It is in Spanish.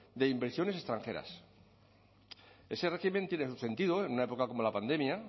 de inversiones extranjeras ese régimen tiene su sentido en una época como la pandemia